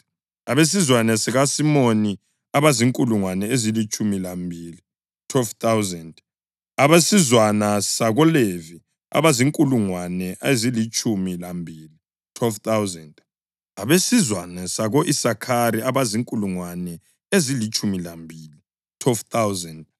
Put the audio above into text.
abesizwana sakoSimiyoni abazinkulungwane ezilitshumi lambili (12,000), abesizwana sakoLevi abazinkulungwane ezilitshumi lambili (12,000), abesizwana sako-Isakhari abazinkulungwane ezilitshumi lambili (12,000),